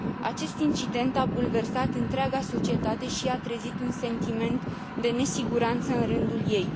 Acest incident a bulversat întreaga societate și a trezit un sentiment de nesiguranță în rândul ei.